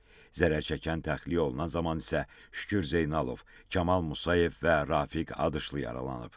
Zərər çəkən təxliyə olunan zaman isə Şükür Zeynalov, Kamal Musayev və Rafiq Adışlı yaralanıb.